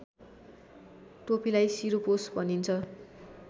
टोपीलाई शिरपोस भनिन्छ